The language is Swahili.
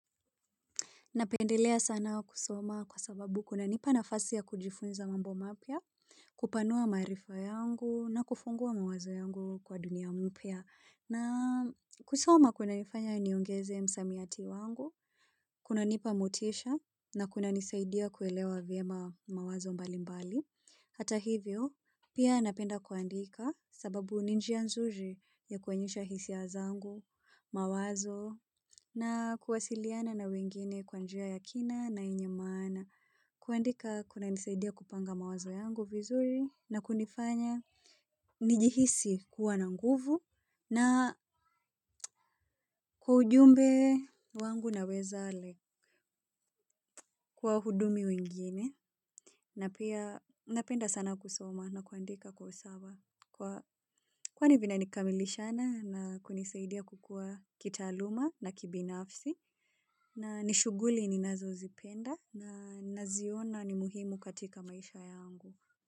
Napendelea sana kusoma kwa sababu kunanipa nafasi ya kujifunza mambo mapya, kupanua maarifa yangu na kufungua mawazo yangu kwa dunia mpya. Na kusoma kunanifanya niongeze msamiati wangu, kunanipa motisha na kunanisaidia kuelewa vyema mawazo mbalimbali. Hata hivyo, pia napenda kuandika sababu ni njia nzuri ya kuonyesha hisia zangu, mawazo, na kuwasiliana na wengine kwa njia ya kina na yenye maana. Kuandika kunanisaidia kupanga mawazo yangu vizuri na kunifanya. Nijihisi kuwa na nguvu na kwa ujumbe wangu naweza like kwa hudumi wengine. Na pia napenda sana kusoma na kuandika kwa usawa kwa kwani vinanikamilishana na kunisaidia kukua kitaaluma na kibinafsi na ni shuguli ninazo zipenda na naziona ni muhimu katika maisha yangu.